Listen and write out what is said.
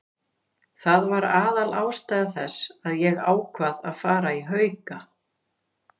Það var aðalástæða þess að ég ákvað að fara í Hauka.